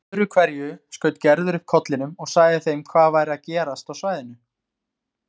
Öðru hverju skaut Gerður upp kollinum og sagði þeim hvað væri að gerast á svæðinu.